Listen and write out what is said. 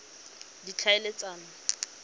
ditlhaeletsano